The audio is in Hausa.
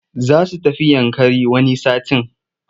Za su tafi Yankari wani satin.